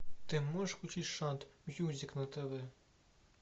ты можешь включить шант мьюзик на тв